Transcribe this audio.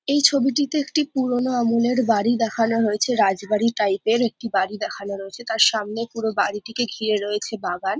এই ছবিটিতে একটি পুরোনো আমলের বাড়ি দেখানো হয়েছে। রাজবাড়ী টাইপের একটি বাড়ি দেখানো রয়েছে। তার সামনে পুরো বাড়িটিকে ঘিরে রয়েছে বাগান।